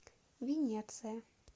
венеция